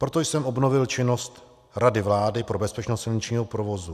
Proto jsem obnovil činnost Rady vlády pro bezpečnost silničního provozu.